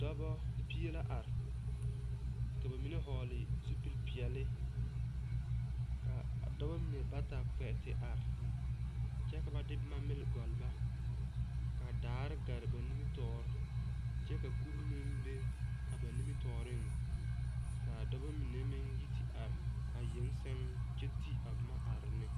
Dɔbɔ pie la are. Ka ba mene vogle zupul piɛle. Ka a dɔbɔ mene bata kpe te are kyɛ ka ba de boma mile gɔl ba. Ka daare gɛre ba nimitoore kyɛ ka kure meŋ be a ba nimitooreŋ. Kaa dɔbɔ mene meŋ yi te are a yeŋe seŋ kyɛ te a boma are neŋ